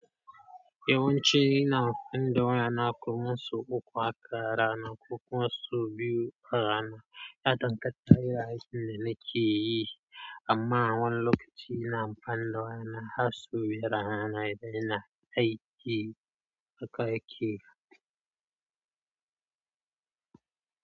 Yawanci ina amfani da waya na kuma wasu uku a rana kuma su biyu a rana. Yadan ganta irin aikin da nake yi. Amma a wani lokaci ina amfani da waya na har su biyar a rana idan ina aiki a kai aiki.